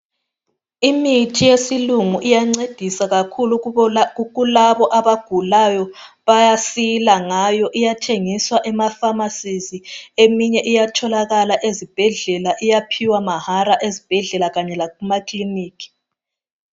Imithi yesilungu iyancedisa kakhulu kulabo abagulayo bayasila ngayo, iyathengiswa, Kuma emakhemisi eminyd iyatholakala ezibhedlela iyaphiwa mahala ezibhedlela kanye lakumakilinika.